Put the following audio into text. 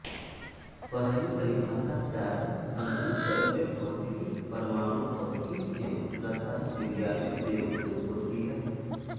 पहली परिभाषा प्रायः संघनित द्रव्य भौतिकी परमाणु भौतिकी एवं रसायन विज्ञान में प्रयुक्त होती है